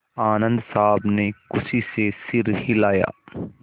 आनन्द साहब ने खुशी से सिर हिलाया